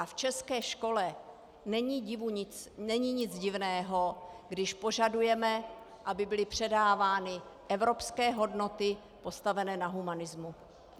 A v české škole není nic divného, když požadujeme, aby byly předávány evropské hodnoty postavené na humanismu.